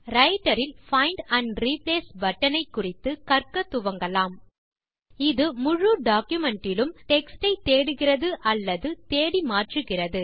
writer இல் find and replace button குறித்து கற்க துவங்கலாம் இது முழு டாக்குமென்ட் இலும் டெக்ஸ்ட் யை தேடுகிறது அல்லது தேடி மாற்றுகிறது